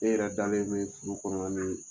E yɛrɛ dalen bɛ so kɔnɔna ni